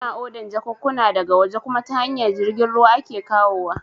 Ina odan jakunkuna da ga waje kuma ta hanyar jirgin ruwa ake kawowa